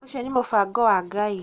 ũcio nĩ mũbango wa ngai